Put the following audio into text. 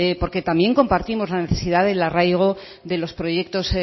porque también compartimos la necesidad del arraigo de los proyectos